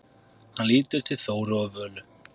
Hann lítur til Þóru og Völu.